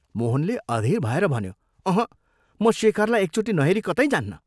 मोहनले अधीर भएर भन्यो, "अँहँ म शेखरलाई एकचोटि नहेरी कतै जान्नँ।